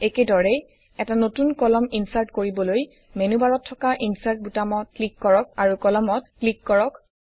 একেদৰেই এটা নতুন কলাম ইনচাৰ্ট কৰিবলৈ মেনুবাৰত থকা ইনচাৰ্ট বুতামটোত ক্লিক কৰক আৰু Columnsত ক্লিক কৰক